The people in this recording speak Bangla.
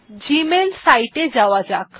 এখন জিমেইল সিতে এ যাওয়া যাক